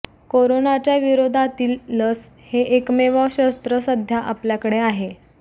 कोरोनाच्या विरोधातील लस हे एकमेव शस्त्र सध्या आपल्याकडे आहे